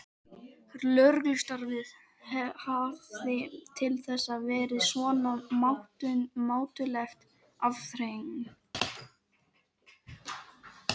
Lögreglustarfið hafði til þessa verið svona mátuleg afþreying.